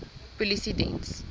polisiediens